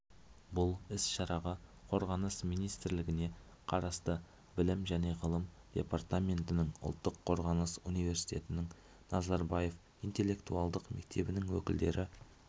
бұл іс-шараға қорғаныс министрлігіне қарасты білім және ғылым департаментінің ұлттық қорғаныс университетінің назарбаев интеллектуалдық мектебінің өкілдері